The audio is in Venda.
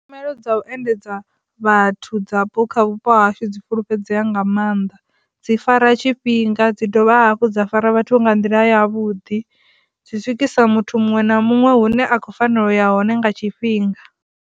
Tshumelo dza u endedza vhathu dzapo kha vhupo hashu dzi fhulufhedzea nga maanḓa dzi fara tshifhinga dzi dovha hafhu dza fara vhathu vho nga nḓila ya vhuḓi. Dzi swikisa muthu muṅwe na muṅwe hune a khou fanela u ya hone nga tshifhinga.